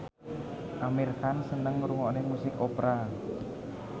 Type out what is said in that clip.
Amir Khan seneng ngrungokne musik opera